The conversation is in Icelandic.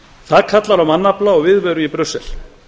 það kallar á mannafla og viðveru í brussel